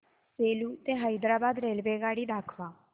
सेलू ते हैदराबाद रेल्वेगाडी दाखवा